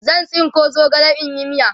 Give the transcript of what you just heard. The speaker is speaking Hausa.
zan. tsinko zogale in yi miya